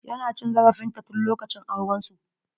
Ya na cin zarafin ta tun lokacin auren su.